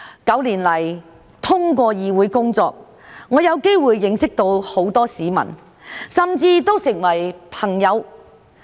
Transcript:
九年來，通過議會工作，我有機會認識到很多市民，甚至成為朋友。